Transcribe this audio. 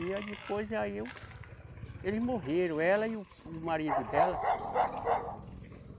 E aí depois, aí eu. Eles morreram, ela e o, o marido dela.